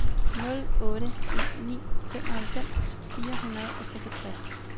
nul otte en ni femoghalvfems fire hundrede og seksogtres